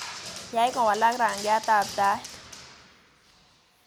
Yaay kowalak rangyatab Tait